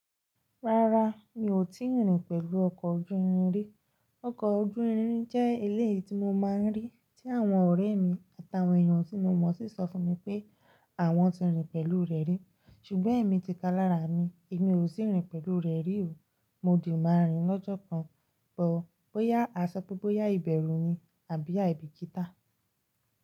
Rárá, mi ò tíì rìn pẹ̀lú ọkọ̀ ojú irin rí. Ọkọ̀ ojú irin jẹ́ eléyìí tí mo máa ń rí tí àwọn ọ̀rẹ́ mi àtàwọn èèyàn tí mo mọ̀ sí sọ fún mi pé àwọn ti rìn pẹ̀lú rẹ̀ rí. Ṣùgbọ́n èmi ti kalara mi, èmi ò sì rìn pẹ̀lú rẹ̀ rí o. Mo dì máa rìn lọ́jọ́ kan, bóyá a sọ pé báyìí bẹ̀rù ni àbí àìbì kítá.